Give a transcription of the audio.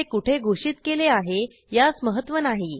ते कुठे घोषित केले आहे यास महत्त्व नाही